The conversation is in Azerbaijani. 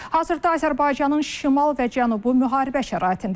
Hazırda Azərbaycanın şimal və cənubu müharibə şəraitindədir.